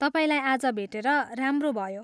तपाईँलाई आज भेटेर राम्रो भयो।